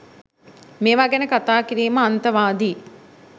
මේවා ගැන කතා කිරීම අන්තවාදී